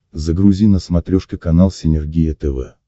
загрузи на смотрешке канал синергия тв